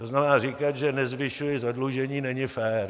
To znamená, říkat, že nezvyšuji zadlužení, není fér.